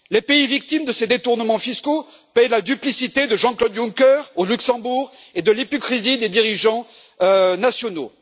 Les pays victimes de ces détournements fiscaux paient la duplicité de Jean Claude Juncker au Luxembourg et de l'hypocrisie des dirigeants nationaux.